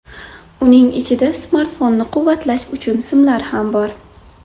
Uning ichida smartfonni quvvatlash uchun simlar ham bor.